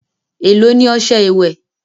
èló ní ọṣẹ ìwé?